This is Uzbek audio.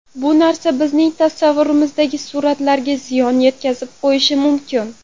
Bu narsa bizning tasavvurimizdagi suratlarga ziyon yetkazib qo‘yishi mumkin.